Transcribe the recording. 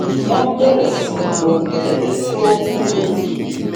wón bèrè sí lo kèké tó ń lo